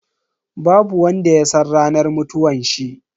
Babu wanda ya san ranar mutuwanshi.